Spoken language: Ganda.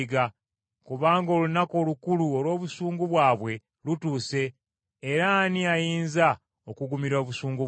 Kubanga olunaku olukulu olw’obusungu bwabwe lutuuse era ani ayinza okugumira obusungu bwabwe!”